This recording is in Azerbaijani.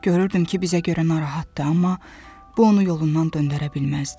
Görürdüm ki, bizə görə narahatdır, amma bu onu yolundan döndərə bilməzdi.